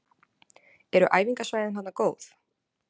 Eru æfingasvæðin þarna góð?